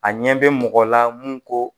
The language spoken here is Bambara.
A ɲɛ bɛ mɔgɔ la mun ko